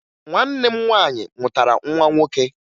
Nwanne m nwaanyị mụtara nwa nwoke